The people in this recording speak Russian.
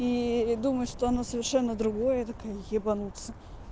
и думаю что она совершенно другое такое ебанутся